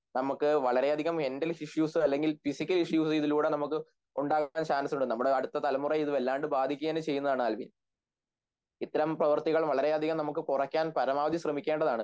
നമുക്ക് വളരെയധികം മെന്റൽഇഷ്യുസ് അല്ലെങ്കിൽ ഫിസിക്കൽഇഷ്യുസ് ഇതിലൂടെ നമുക്ക് ഉണ്ടാകാൻ ചാൻസുണ്ട് നമ്മുടെ അടുത്ത തലമുറ ഇതുവല്ലാണ്ടു ബാധിക്കുകതന്നെചെയ്യും ആൽവിൻ ഇത്തരം പ്രവർത്തികൾ വളരെയധികം നമുക്ക് കുറക്കാൻ പരമാവധി സ്രെമിക്കേണ്ടതാണ്